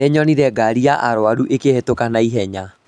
Nĩnyonire ngari ya arwaru ĩkĩhĩtũka na ihenya